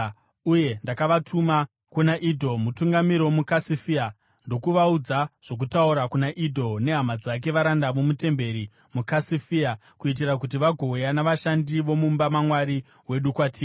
uye ndakavatuma kuna Idho, mutungamiri womuKasifia. Ndakavaudza zvokutaura kuna Idho nehama dzake, varanda vomutemberi muKasifia, kuitira kuti vagouya navashandi vomumba maMwari wedu kwatiri.